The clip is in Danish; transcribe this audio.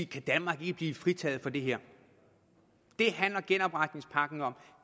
kan danmark ikke blive fritaget for det her det handler genopretningspakken om